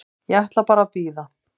Ég ætla bara að bíða.